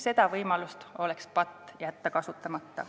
Oleks patt jätta see võimalus kasutamata.